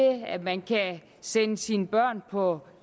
at man kan sende sine børn på